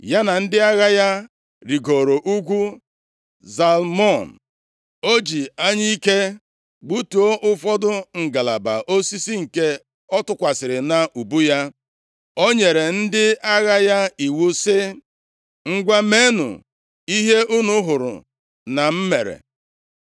ya na ndị agha ya rigoro ugwu Zalmon. O ji anyụike gbutuo ụfọdụ ngalaba osisi nke ọ tụkwasịrị nʼubu ya. O nyere ndị agha ya iwu si, “Ngwa, meenụ ihe unu hụrụ na m mere.”